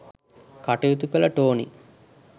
කටයුතු කළ ටෝනි